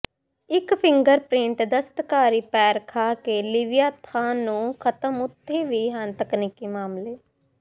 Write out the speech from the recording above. ਇੱਕ ਫਿੰਗਰਪਰਿੰਟ ਦਸਤਕਾਰੀ ਪੈਰ ਖਾਕੇ ਲਿਵਯਾਥਾਨ ਨੂੰ ਖ਼ਤਮ ਉੱਥੇ ਵੀ ਹਨ ਤਕਨੀਕੀ ਮਾਮਲੇ